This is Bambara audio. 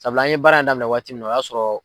Sabula an ye baara in daminɛ waati min na o y'a sɔrɔ